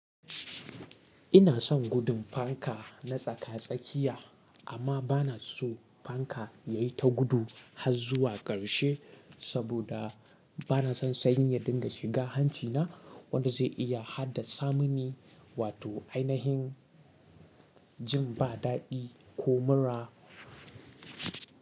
Ina son gudun fanka na tsaka-tsakiya, amma ba na so fanka yayi ta gudu har zuwa ƙarshe saboda ba na son sanyi ya dinga shiga hancina wanda zai iya haddasa mini wato ainihin jin ba daɗi ko mura.